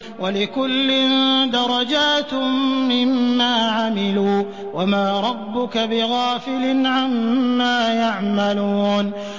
وَلِكُلٍّ دَرَجَاتٌ مِّمَّا عَمِلُوا ۚ وَمَا رَبُّكَ بِغَافِلٍ عَمَّا يَعْمَلُونَ